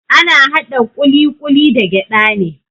Ana haɗa ƙuliƙuli da gyada ne.